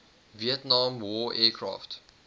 vietnam war aircraft